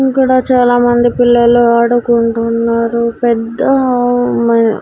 ఇక్కడ చాలా మంది పిల్లలు ఆడుకుంటూ ఉన్నారు పెద్ద మా.